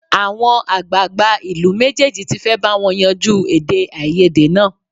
Àwọn àgbààgbà ìlú méjèèjì tí fẹ́ bá wọn yanjú èdèàìyedè náà